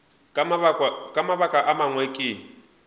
ka mabaka a mangwe ke